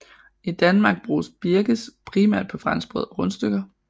I Danmark bruges birkes primært på franskbrød og rundstykker